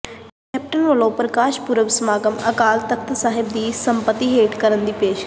captain ਵੱਲੋਂ ਪ੍ਰਕਾਸ਼ ਪੁਰਬ ਸਮਾਗਮ ਅਕਾਲ ਤਖਤ ਸਾਹਿਬ ਦੀ ਸਰਪ੍ਰਸਤੀ ਹੇਠ ਕਰਨ ਦੀ ਪੇਸ਼ਕਸ਼